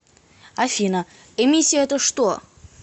афина эмиссия это что